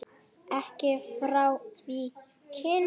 Ekki frá því kyn